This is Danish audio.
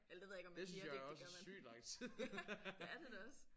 Eller det ved jeg ikke om man siger det det gør man det er det da også